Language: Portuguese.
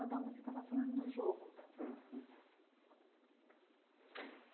Adão, você estava falando do jogo.